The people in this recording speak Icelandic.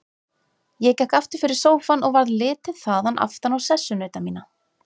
Ég gekk aftur fyrir sófann og varð litið þaðan aftan á sessunauta mína.